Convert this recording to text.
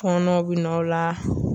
fɔnɔw bi n'a o la.